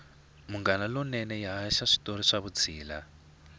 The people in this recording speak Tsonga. munghana lonene yi haxa switori swa vutshila